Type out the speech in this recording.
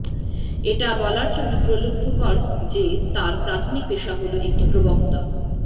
এটা বলার জন্য প্রলুব্ধকর যে তার প্রাথমিক পেশা হল একটি প্রবক্তা